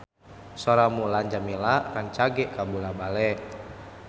Sora Mulan Jameela rancage kabula-bale